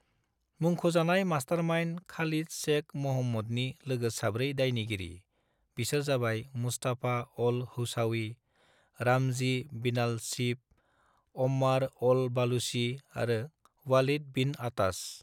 मुंख'जानाय mastermind Khalid Sheikh म'हम्मदनि लोगो साब्रै दायनिगिरि, बिसोर जाबाय Mustafa al Hawsawi, Ramzi bin al Shibh, Ammar al Baluchi आरो वालिद बिन अताश।